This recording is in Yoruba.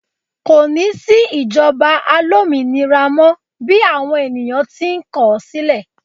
ko ni sí ìjoba alominira mọ bi awon ènìyàn ti n kọ sílè